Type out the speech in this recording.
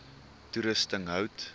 toerusting hout